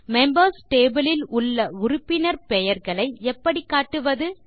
members table ல் உள்ள உறுப்பினர் பெயர்களை எப்படி காட்டுவது